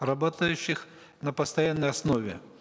работающих на постоянной основе